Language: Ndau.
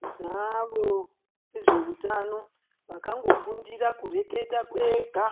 Tinavo vezveutano vakangofundira kureketa kwega